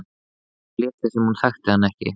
Hvað ef hún léti sem hún þekkti hann ekki?